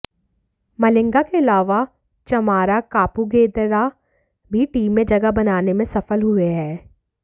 मलिंगा के अलावा चमारा कापुगेदरा भी टीम में जगह बनाने में सफल हुए हैं